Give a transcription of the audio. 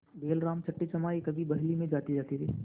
बैलराम छठेछमाहे कभी बहली में जोते जाते थे